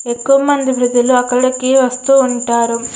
ఎక్కువమంది వృద్దులు అక్కడికి వస్తూ ఉంటారు.